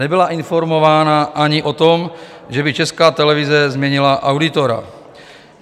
Nebyla informována ani o tom, že by Česká televize změnila auditora.